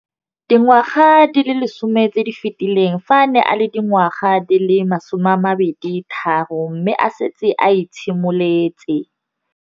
Dingwaga di le 10 tse di fetileng, fa a ne a le dingwaga di le 23 mme a setse a itshimoletse